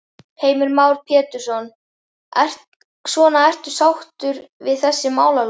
Heimir Már Pétursson: Svona ertu sáttur við þessi málalok?